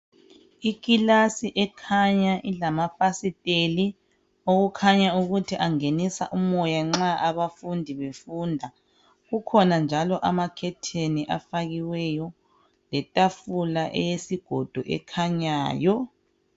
Ikilasi ekhanya ilamafasiteli okukhanya ukuthi angenisa umoya nxa abafundi befunda. Kukhona njalo amakhetheni afakiweyo letafula eyesigodo ekhanyayo.